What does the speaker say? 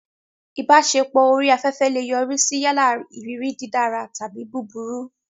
Ìbáṣepọ̀ orí afẹ́fẹ́ lè yọrí sí yálà ìrírí dídára tàbí búburú.